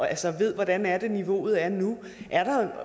ved hvordan niveauet er nu